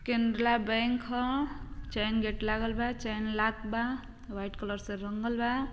कैनला bank ह। Chain gate लागल बा। चैन लॉक बा। वाइट कलर से रंगल बा।